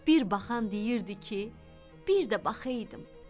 Bir baxan deyirdi ki, bir də baxaydım.